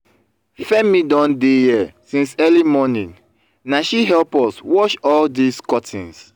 femi don dey here since early morning na she help us wash all dis curtains